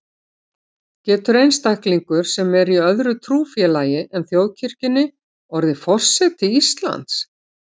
Getur einstaklingur, sem er í öðru trúfélagi en þjóðkirkjunni, orðið forseti Íslands?